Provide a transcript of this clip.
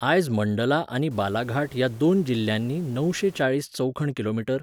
आयज मंडला आनी बालाघाट ह्या दोन जिल्ल्यांनी णवशें चाळीस चौखण किलोमीटर.